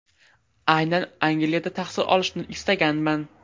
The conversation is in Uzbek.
Aynan Angliyada tahsil olishni istaganman.